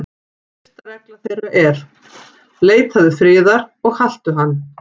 Fyrsta regla þeirra er: Leitaðu friðar og haltu hann.